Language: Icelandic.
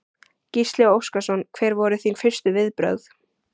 Gísli Óskarsson: Hver voru þín fyrstu viðbrögð?